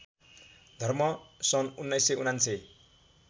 धर्म सन् १९९९